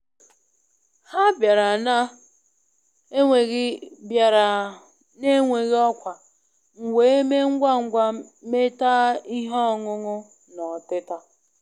Ha bịara na-enweghị bịara na-enweghị ọkwa, m wee mee ngwa ngwa metaa ihe ọṅụṅụ na ọtịta